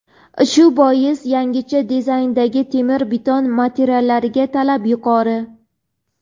Shu bois yangicha dizayndagi temir-beton materiallariga talab yuqori.